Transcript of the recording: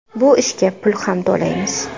Bu ishga pul ham to‘laymiz.